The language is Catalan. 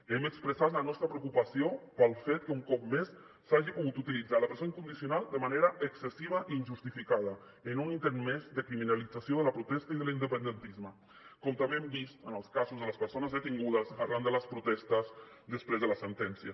hem expressat la nostra preocupació pel fet que un cop més s’hagi pogut utilitzar la presó incondicional de manera excessiva i injustificada en un intent més de criminalització de la protesta i de l’independentisme com també ho hem vist en els casos de les persones detingudes arran de les protestes després de la sentència